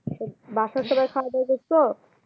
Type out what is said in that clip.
বাসার সবাই খাওয়া দাওয়া করসো?